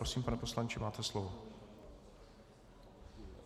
Prosím, pane poslanče, máte slovo.